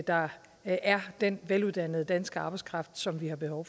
der er den veluddannede danske arbejdskraft som vi har behov